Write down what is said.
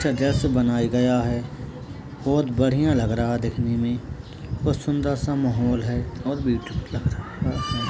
बनाया गया है बढ़िया लग रहा है दिखने में और सुन्दर सा माहौल है और लग रहा है।